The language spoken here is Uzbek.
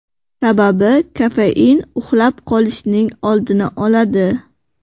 Sababi kofein uxlab qolishning oldini oladi.